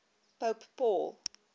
pope paul